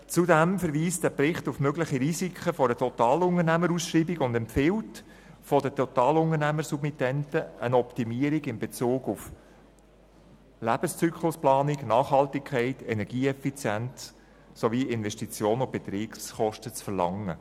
Zudem verweist der Bericht auf mögliche Risiken einer Totalunternehmerausschreibung und empfiehlt, von den Totalunternehmersubmittenten eine Optimierung in Bezug auf Lebenszyklusplanung, Nachhaltigkeit, Energieeffizienz sowie Investitions- und Betriebskosten zu verlangen.